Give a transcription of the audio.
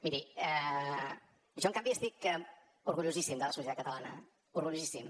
miri jo en canvi estic orgullosíssim de la societat catalana orgullosíssim